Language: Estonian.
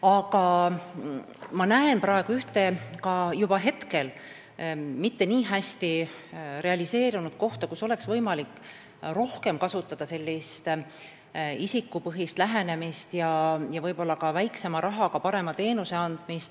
Aga ma näen juba praegu ühte mitte nii hästi realiseerunud kohta, kus oleks võimalik rohkem isikupõhist lähenemist kasutada ja võib-olla ka väiksema rahaga paremat teenust anda.